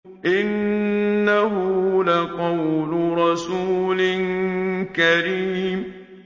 إِنَّهُ لَقَوْلُ رَسُولٍ كَرِيمٍ